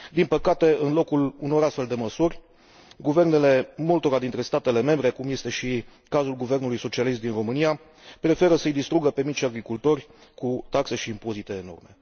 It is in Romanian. Din păcate, în locul unor astfel de măsuri, guvernele multora dintre statele membre, cum este și cazul guvernului socialist din România, preferă să i distrugă pe micii agricultori cu taxe și impozite enorme.